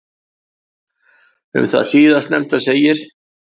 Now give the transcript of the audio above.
Um það síðastnefnda segir: